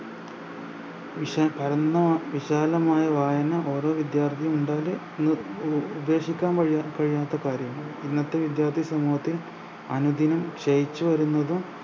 വിശ പരന്ന വിശാലമായ വായന ഓരോ വിദ്യാർത്ഥിനി ഉപേക്ഷിക്കാൻ കഴിയാ കഴിയാത്ത കാര്യമാണ് ഇന്നത്തെ വിദ്യാർത്ഥി സമൂഹത്തിൽ അനുദിനം ശയിച്ചുവരുന്നതും